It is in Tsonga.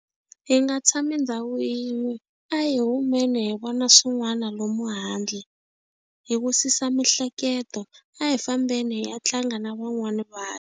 Hi nga tshami ndhawu yin'we a hi humeni hi vona swin'wana lomu handle hi wisisa mihleketo a hi fambeni hi ya tlanga na van'wana vanhu.